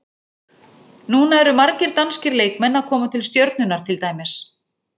Núna eru margir danskir leikmenn að koma til Stjörnunnar til dæmis.